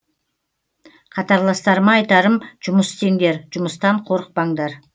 қатарластарыма айтарым жұмыс істеңдер жұмыстан қорықпаңдар